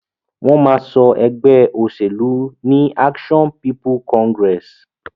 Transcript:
Wón ma so egbé òsèlú ní Action People Congress